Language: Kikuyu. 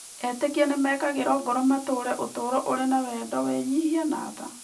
Etĩkia nĩ mekagĩrũo ngoro matũũre ũtũũro ũrĩ na wendo, wĩnyihia, na tha.